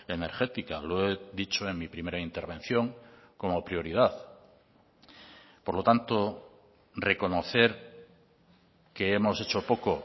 energética lo he dicho en mi primera intervención como prioridad por lo tanto reconocer que hemos hecho poco